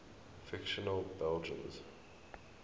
fictional belgians